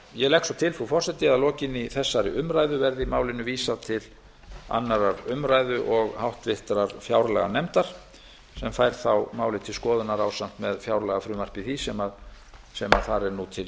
ég legg svo til frú forseti að að lokinni þessari umræðu verði málinu vísað til annarrar umræðu og háttvirtrar fjárlaganefndar sem fær þá málið til skoðunar ásamt með fjárlagafrumvarpi því sem þar er nú til